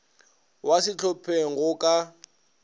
wa ka sehlopheng go ka